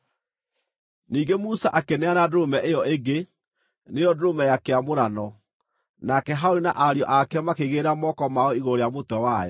Ningĩ Musa akĩneana ndũrũme ĩyo ĩngĩ, nĩyo ndũrũme ya kĩamũrano, nake Harũni na ariũ ake makĩigĩrĩra moko mao igũrũ rĩa mũtwe wayo.